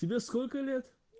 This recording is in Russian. тебе сколько лет